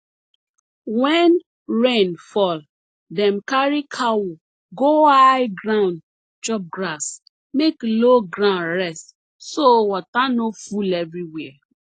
wen rain fall dem carry cow go high ground chop grass make low ground rest so water no full everywhere